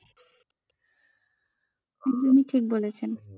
একদমই ঠিক বলেছেন।